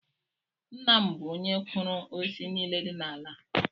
Nna m bụ onye kụrụ osisi nile dị n’ala a